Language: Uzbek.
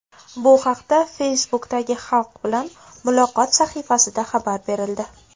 Bu haqda Facebook’dagi Xalq bilan muloqot sahifasida xabar berildi .